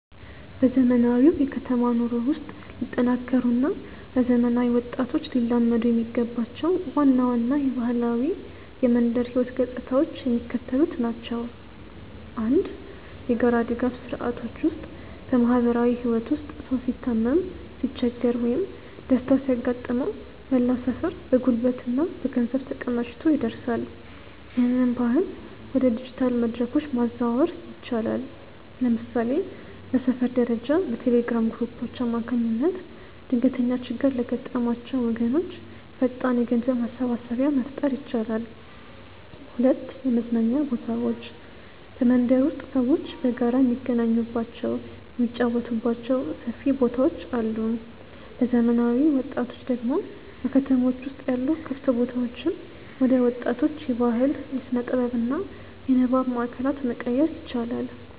በዘመናዊው የከተማ ኑሮ ውስጥ ሊጠናከሩ እና ለዘመናዊ ወጣቶች ሊላመዱ የሚገባቸው ዋና ዋና የባህላዊ የመንደር ህይወት ገጽታዎች የሚከተሉት ናቸው፦ 1. የጋራ ድጋፍ ስርዓቶች ውስጥ በማህበራዊ ህይወት ውስጥ ሰው ሲታመም፣ ሲቸገር ወይም ደስታ ሲያጋጥመው መላው ሰፈር በጉልበትና በገንዘብ ተቀናጅቶ ይደርሳል። ይህንን ባህል ወደ ዲጂታል መድረኮች ማዛወር ይቻላል። ለምሳሌ በሰፈር ደረጃ በቴሌግራም ግሩፖች አማካኝነት ድንገተኛ ችግር ለገጠማቸው ወገኖች ፈጣን የገንዘብ ማሰባሰቢያ መፍጠር ይቻላል። 2. የመዝናኛ ቦታዎች በመንደር ውስጥ ሰዎች በጋራ የሚገናኙባቸው፣ የሚጫወቱባቸው ሰፊ ቦታዎች አሉ። ለዘመናዊ ወጣቶች ደግሞ በከተሞች ውስጥ ያሉ ክፍት ቦታዎችን ወደ ወጣቶች የባህል፣ የስነ-ጥበብ እና የንባብ ማእከላት መቀየር ይቻላል።